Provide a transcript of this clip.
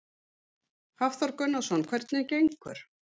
Hafþór Gunnarsson: Hvernig gengur?